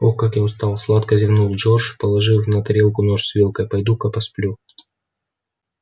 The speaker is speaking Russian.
ох как я устал сладко зевнул джордж положив на тарелку нож с вилкой пойду-ка посплю